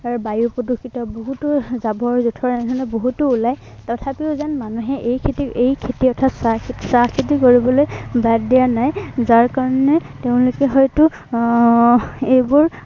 আৰু বায়ু প্ৰদূষিত এৰ বহুতো জাৱৰ-যোঠৰ এনেধৰনৰ বহুতো উলায় এৰ তথাপিও যেন মানুহে এই খেতি এই খেতি অৰ্থাৎ চাহ খেতি চাহ খেতি কৰিবলৈ বাদ দিয়া নাই। যাৰ কাৰনে তেওঁলোকে, হয়তো আহ এইবোৰ